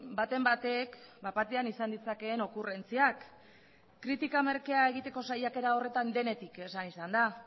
baten batek bat batean izan ditzakeen okurrentziak kritika merkea egiteko saiakera horretan denetik esan izan da